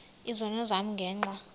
izono zam ngenxa